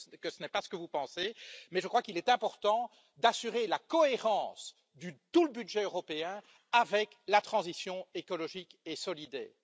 Je sais que ce n'est pas ce que vous pensez, mais je crois qu'il est important d'assurer la cohérence de tout le budget européen avec la transition écologique et solidaire.